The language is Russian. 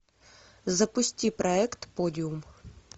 запусти проект подиум